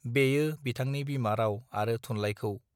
बेयो बिथांनि बिमा राव आरो थुनलाइखौ